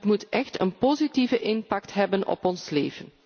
Het moet echt een positieve impact hebben op ons leven.